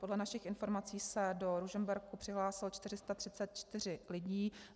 Podle našich informací se do Ružomberku přihlásilo 434 lidí.